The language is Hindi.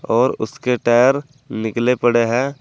और उसके टायर निकले पड़े हैं।